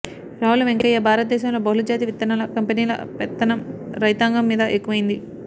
రావుల వెంకయ్య భారతదేశంలో బహుళ జాతి విత్తనల కంపెనీల పెత్తనం రైతాంగం మీద ఎక్కువయ్యింది